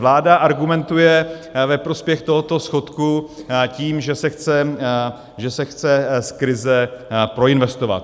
Vláda argumentuje ve prospěch tohoto schodku tím, že se chce z krize proinvestovat.